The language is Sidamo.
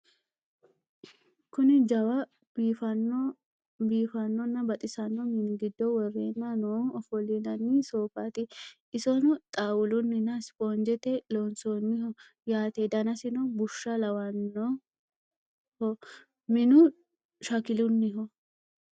Kunni jawwu, biifanona baxxisano mini giddo worenna noohu offolinanni soofatti isino xaawulunina isiponijjette loonisaniho yaatte danasinno bussha lawannohob minnu shakkilunniho